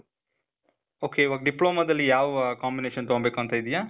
ok, ಇವಾಗ್ ಡಿಪ್ಲೋಮಾದಲ್ಲಿ ಯಾವ combination ತಗೋಬೇಕಂತ ಇದೀಯ?